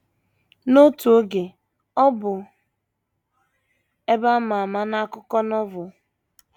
N’otu oge ọ bụ ebe a ma ama n’akụkọ Novel.